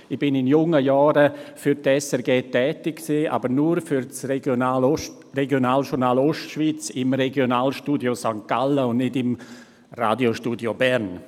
Ich war in jungen Jahren für die SRG tätig, aber nur für das Regionaljournal Ostschweiz im Regionalstudio St. Gallen, und nicht im Radiostudio Bern.